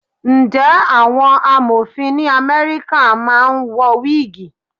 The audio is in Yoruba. Ǹjẹ́ àwọn Amọ̀fin ní Amẹ́ríkà máa ń wọ wígìì?